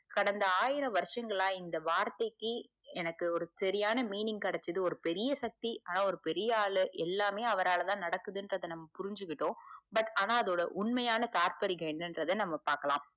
கடந்த ஆயிரவருசங்களா இந்த வார்த்தைக்கு எனக்கு ஒரு சரியான meaning கெடைச்சுது ஒரு பெரிய சக்தி ஆனா ஒரு பெரிய ஆளு எல்லாமே அவரால்தான் நடக்குதுங்குறத புரிஞ்சுக்கிட்டுடோம் but ஆனா அதோட உண்மையான தார்பரிகம் என்னெங்குரத நம்ம பாக்கலாம்